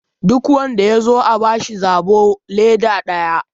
duk wanda ya zo a bashi zobo leda daya!